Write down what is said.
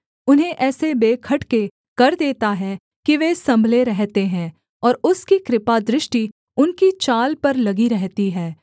उन्हें ऐसे बेखटके कर देता है कि वे सम्भले रहते हैं और उसकी कृपादृष्टि उनकी चाल पर लगी रहती है